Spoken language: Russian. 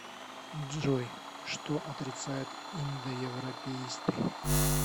джой что отрицают индоевропеисты